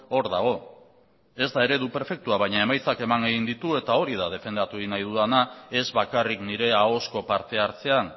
hor dago ez da eredu perfektua baina emaitzak eman egin ditu eta hori da defendatu egin nahi dudana ez bakarrik nire ahozko parte hartzean